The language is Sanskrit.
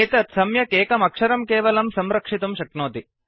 एतत् सम्यक् एकमक्षरम् केवलं संरक्षितुं शक्नोति